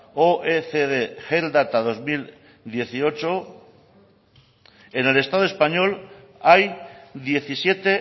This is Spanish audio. oecd health data dos mil dieciocho en el estado español hay diecisiete